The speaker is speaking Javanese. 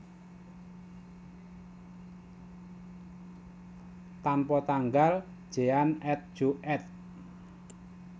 Tanpa tanggal Jean et Jo éd